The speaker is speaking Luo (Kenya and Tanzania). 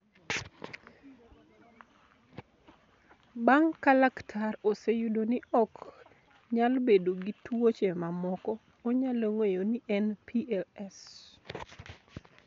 Bang' ka laktar oseyudo ni ok nyal bedo gi tuoche mamoko, onyalo ng'eyo ni en PLS.